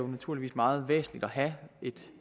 naturligvis meget væsentligt at have et